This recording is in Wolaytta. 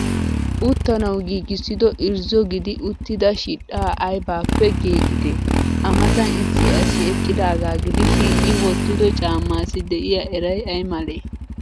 Uttanawu giigissido irzzo gidi uttida shidhdhaa aybaappee giigidee? A Matan issi asi eqqidaagaa gidishin i wottido caammaassi de'iya eray ay malee?